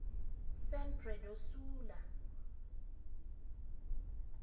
san pedro sula